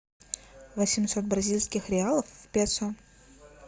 восемьсот бразильских реалов в песо